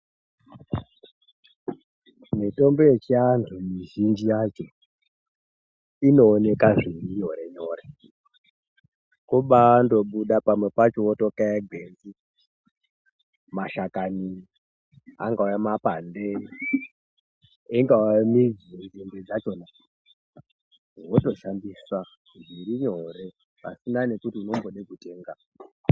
Mitombo yechiantu mizhinji yacho inoneka zviri nyore-nyore. Kubandobuda pamwe pacho votokaya gwenzi, mashakani angaa mapande, ingava midzi, nzinde dzachona. Votoshandisa zvirinyore pasina nekuti vombode kutenga.